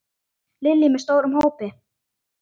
Lillý: Með stórum hópi?